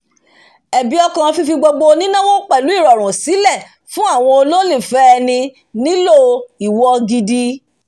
ẹ̀bi ọkàn fífi gbogbo nínáwo pẹ̀lú ìrọ̀rùn sílẹ̀ fún àwọn olólùfẹ́ ẹni nílò ìwọ gidi